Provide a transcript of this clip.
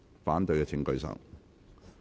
反對的請舉手。